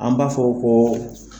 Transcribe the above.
An b'a fɔ ko